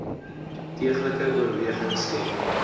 deeglike oorweging skenk